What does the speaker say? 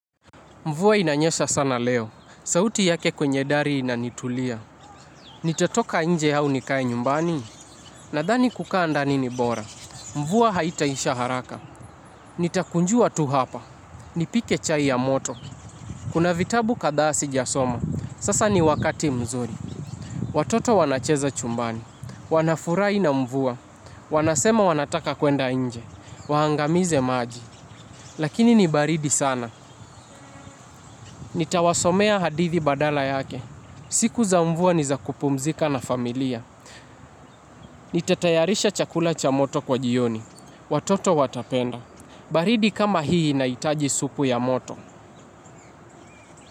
Mvua inanyesha sana leo, sauti yake kwenye dari inanitulia. Nitatoka inje au nikae nyumbani, nadhani kukaa ndani ni bora. Mvua haitaisha haraka, nitakunjua tu hapa, nipike chai ya moto. Kuna vitabu kadhaa sijasoma, sasa ni wakati mzuri. Watoto wanacheza chumbani, wanafurai na mvua, wanasema wanataka kwenda inje, wahangamize maji. Lakini ni baridi sana, nitawasomea hadithi badala yake. Siku za mvua ni za kupumzika na familia. Nita tayarisha chakula cha moto kwa jioni. Watoto wapenda baridi kama hii inahitaji supu ya moto.